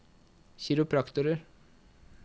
kiropraktorer